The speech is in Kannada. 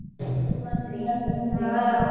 ಹೋಗಿ ಬಂದ್ರಿ .